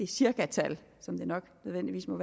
cirkatal som det nok nødvendigvis må